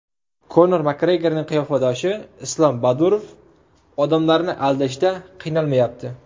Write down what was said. Konor MakGregorning qiyofadoshi Islam Badurov odamlarni aldashda qiynalmayapti .